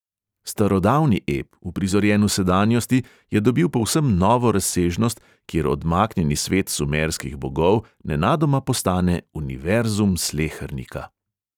Starodavni ep, uprizorjen v sedanjosti, je dobil povsem novo razsežnost, kjer odmaknjeni svet sumerskih bogov nenadoma postane univerzum slehernika.